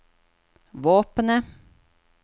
våpenet